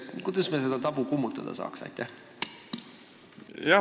Kuidas me seda tabu kummutada saaks?